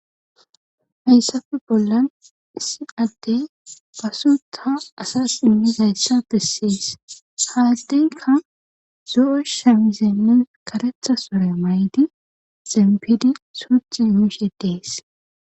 Hayssape bollan issi adde pasuta asas immi zayssa fessiys haaddeyka zo7o shemizenne karetha sore may7di xempidi suuth yuyisheddees